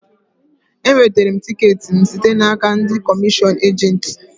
E wetere m tiket m site n'aka ndị komishion ejent